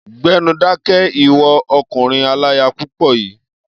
Gbẹ́nu dákẹ́! Ìwọ ọkùnrin aláya púpọ̀ yìí.